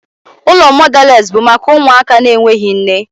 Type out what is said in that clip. Ụlọ mọdales bụ maka ụmụaka na-enweghị nne.